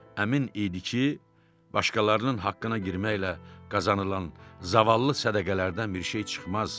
Əmin idi ki, başqalarının haqqına girməklə qazanılan zavallı sədəqələrdən bir şey çıxmaz.